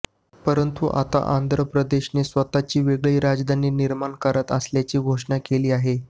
परंतु आता आंध्र प्रदेशने स्वतःची वेगळी राजधानी निर्माण करत असल्याची घोषणा केली आहे